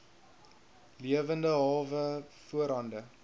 lewende hawe voorhande